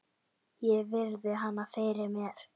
Ég virði hana fyrir mér.